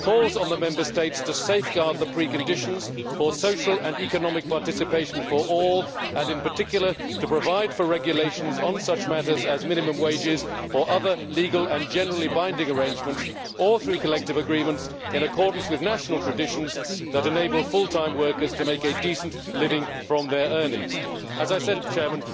calls on the Member States to safeguard the preconditions for social and economic participation for all and, in particular, to provide for regulations on such matters as minimum wages or other legal and generally binding arrangements or through collective agreements in accordance with national traditions that enable full time workers to make a decent living from their earnings'. As I said,